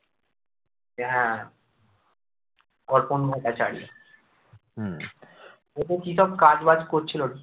হ্যাঁ অর্পণ ভট্টাচার্য ও তো কি সব কাজবাজ করছিল